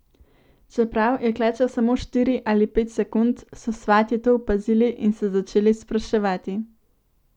Čeprav je klečal samo štiri ali pet sekund, so svatje to opazili in se začeli spraševati.